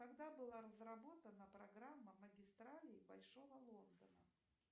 когда была разработана программа магистралей большого лондона